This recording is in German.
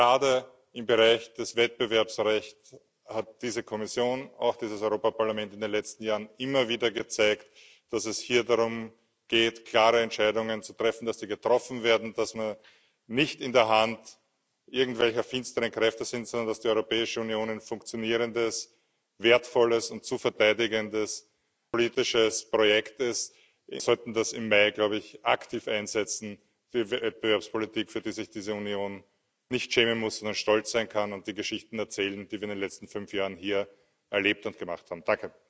Gerade im Bereich des Wettbewerbsrechts hat diese Kommission, auch dieses Europäische Parlament, in den letzten Jahren immer wieder gezeigt, dass es hier darum geht, klare Entscheidungen zu treffen, die getroffen werden, dass man nicht in der Hand irgendwelcher finsteren Kräfte ist, sondern dass die Europäische Union ein funktionierendes, wertvolles und zu verteidigendes politisches Projekt ist. Wir sollten das im Mai aktiv einsetzen, die Wettbewerbspolitik, für die sich diese Union nicht schämen muss, sondern stolz sein kann, und sollten die Geschichten erzählen, die wir in den letzten fünf Jahren hier erlebt und gemacht haben.